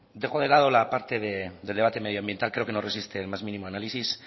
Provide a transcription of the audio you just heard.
dejo de lado la parte del debate medioambiental creo que no resiste ni el más mínimo análisis